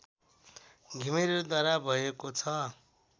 घिमिरेद्वारा भएको छ